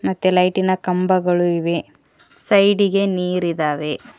ತ್ತೆ ಲೈಟಿನ ಕಂಬಗಳು ಇವೆ ಸೈಡಿಗೆ ನೀರಿದಾವೆ.